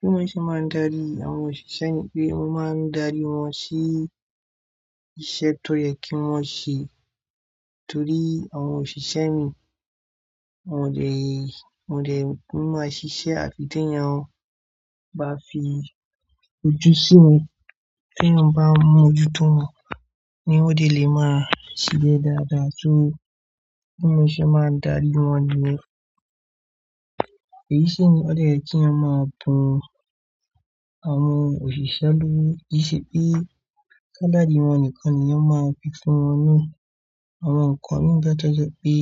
Bí mo ṣe máa ń darí àwọn òṣìṣẹ́ mi pé mo máa ń darí wọ́n sí iṣẹ́ tó yẹ kí wọ́n ṣe torí àwọn òṣìṣẹ́ mi wọn ò jẹ́, wọn ò jẹ́ kí wọ́n máa ṣiṣẹ́ àfi tí ẹni ẹran bá fi ojú sí wọn. Tí ẹyàn bá ń mú ojú tó wọn ni wọn dè lè máa ṣiṣẹ́ dáadáa. So bí mo ṣe máa ń darí wọn ni wọ́. Èyí sì ni ódè yẹ kí a máa bu àwọn òṣìṣẹ́ lórí. Í ṣe pé kálàdí wọ́n nìkan ni a máa fi fún wọn ní àwọn nǹkan. Nígbà tí ó jẹ́ pé